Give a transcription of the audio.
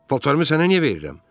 Paltarımı sənə niyə verirəm?